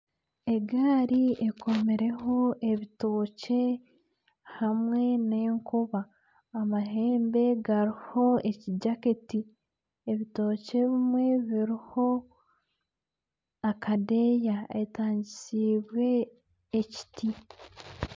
Egaari ekomirweho ebitookye, hamwe n'enkoba amahembe hariho ekijaketi, ebitookye ebimwe biriho akadeeya akatangisiibwe ekiti.